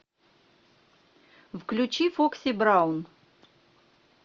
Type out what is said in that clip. включи фокси браун